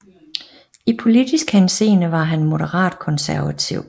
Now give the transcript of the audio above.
I politisk henseende var han moderat konservativ